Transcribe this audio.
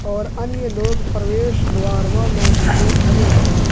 और अन्य लोग प्रवेश द्वार व लॉबी में खड़े हैं।